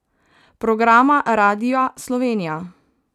Programa Radia Slovenija.